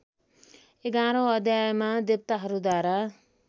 एघारौँ अध्यायमा देवताहरूद्वारा